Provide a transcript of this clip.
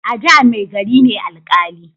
A da mai gari ne alƙali